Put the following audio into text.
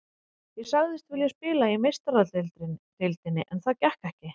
Ég sagðist vilja spila í Meistaradeildinni en það gekk ekki.